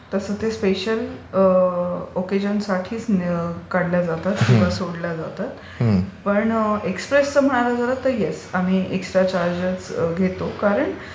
तसं ते स्पेशल ओकेजनसाठीच काढल्या जातात किंवा सोडल्या जातात. पण एक्सप्रेसचं महाग आहे तर हो एकस्ट्रा चार्जेस घेतो कारण